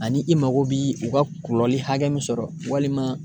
Ani i mago bi u ka kɔlɔlɔ hakɛ min sɔrɔ walima